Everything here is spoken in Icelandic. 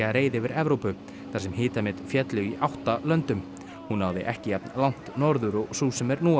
reið yfir Evrópu þar sem hitamet féllu í átta löndum hún náði ekki jafn langt norður og sú sem nú